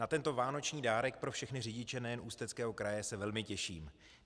Na tento vánoční dárek pro všechny řidiče nejen Ústeckého kraje se velmi těším.